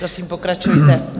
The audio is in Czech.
Prosím, pokračujte.